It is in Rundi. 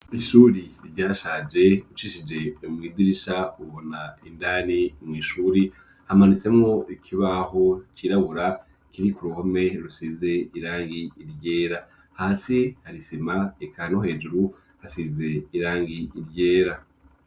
Ishuri ryashaje ucishije mw'idirisha ubona indani mw'ishuri hamanitsemwo ikibaho cirabura kiri ku ruhome rusize irangi ryera. Hasi hasize isima, eka no hejuru hasize irangi ryera.